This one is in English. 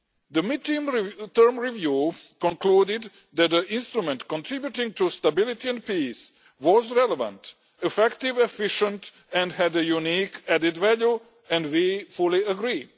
The mid term review concluded that our Instrument contributing to Stability and Peace was relevant, effective, and efficient and had a unique added value, and we fully agree.